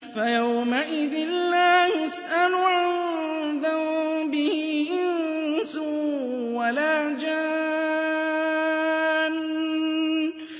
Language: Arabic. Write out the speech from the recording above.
فَيَوْمَئِذٍ لَّا يُسْأَلُ عَن ذَنبِهِ إِنسٌ وَلَا جَانٌّ